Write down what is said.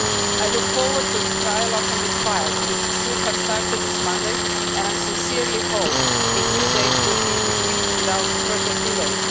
I look forward to a trialogue on this file, which should have started this Monday, and I sincerely hope that a new date will be agreed without further delay.